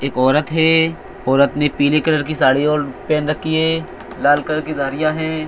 एक औरत है ओरत ने पीली कलर की साड़ी और पेन रखी है लाल कलर की गाड़ियां है।